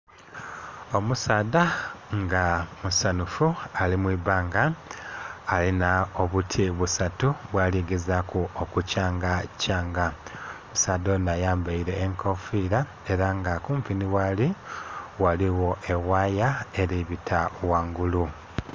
Omusaadha nga musanhufu ali mwiibbanga alinha obuti busatu bwaligeza ku okukyanga kyanga, omusaadha ono ayambaire enkofira era nga kumpi ni ghali ghaligho ewaya eri bita ghangulu.